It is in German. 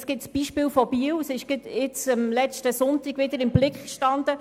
Es gibt das Beispiel von Biel, das letzten Sonntag im «Blick» stand;